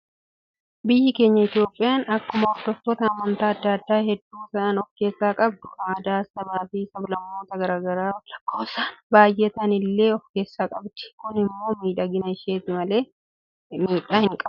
Biyyi keenya Itoophiyaan akkuma hordoftoota amantaa addaa addaa hedduu ta'an of keessaa qabdu, aadaa sabaa fi sablammootaa garaagaraa lakkoofsaan baayyee ta'anii illee of keessaa qabdi. Kun immoo miidhagina isheeti malee miidhaa hin qabu.